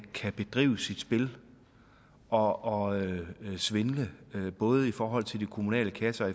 kan bedrive sit spil og svindle både i forhold til de kommunale kasser og